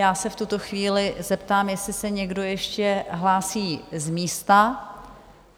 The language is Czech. Já se v tuto chvíli zeptám, jestli se někdo ještě hlásí z místa.